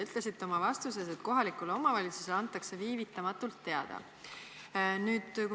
Ütlesite oma vastuses, et kohalikule omavalitsusele antakse viivitamatult teada.